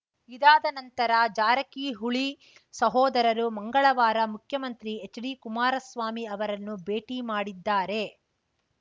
ಇದಾದ ನಂತರ ಜಾರಕಿಹುಳಿ ಸಹೋದರರು ಮಂಗಳವಾರ ಮುಖ್ಯಮಂತ್ರಿ ಎಚ್‌ಡಿ ಕುಮಾರಸ್ವಾಮಿ ಅವರನ್ನು ಭೇಟಿ ಮಾಡಿದ್ದಾರೆ